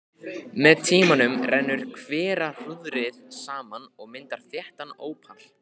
Með tímanum rennur hverahrúðrið saman og myndar þéttan ópal.